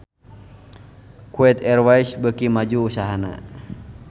Kuwait Airways beuki maju usahana